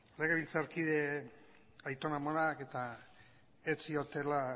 legebiltzarkide aiton amonak ez ziotela